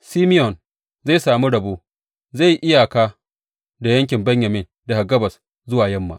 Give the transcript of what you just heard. Simeyon zai sami rabo; zai yi iyaka da yankin Benyamin daga gabas zuwa yamma.